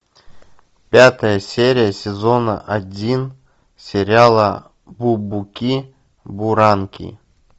пятая серия сезона один сериала бубуки буранки